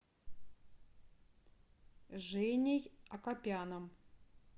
женей акопяном